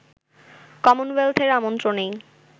কমনওয়েলথের আমন্ত্রণেই